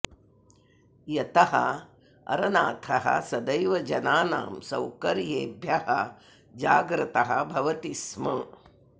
यतः अरनाथः सदैव जनानां सौकर्येभ्यः जाग्रतः भवति स्म